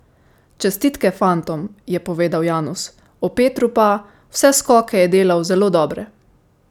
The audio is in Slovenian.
Čestitke fantom,'' je povedal Janus, o Petru pa: ''Vse skoke je delal zelo dobre.